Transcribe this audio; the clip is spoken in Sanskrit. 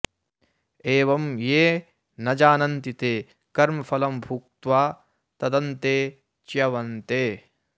एवं ये न जानन्ति ते कर्मफलं भुक्त्वा तदन्ते च्यवन्ते